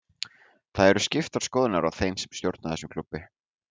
Það eru skiptar skoðanir á þeim sem stjórna þessum klúbbi.